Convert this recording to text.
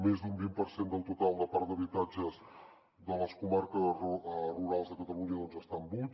més d’un vint per cent del total de parc d’habitatges de les comarques rurals de catalunya estan buits